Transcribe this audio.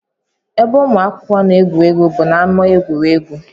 Ebe ụmụ akwụkwọ na-egwu egwu bụ n'ámá egwuregwu